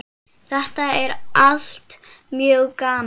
Þetta er allt mjög gaman.